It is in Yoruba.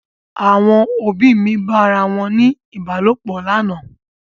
Àwọn òbí mi bá ara wọn ní Ìbálòpọ̀ lánàá.